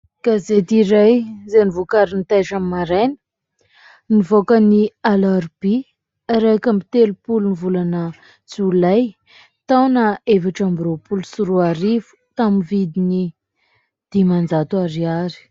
Gazety iray izay novokarin'ny Taitra Maraina, nivoaka ny alarobia iraika amby telopolo jolay taona efatra amby roapolo sy roarivo, tamin'ny vidiny dimanjato ariary.